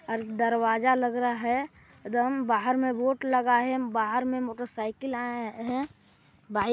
अर-- दरवाजा लग रहा है एदो हम बाहर में बोर्ड लगा है बाहर में मोटर साइकिल आए है बाई--